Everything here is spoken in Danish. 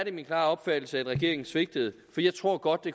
er min klare opfattelse at regeringen svigtede for jeg tror godt at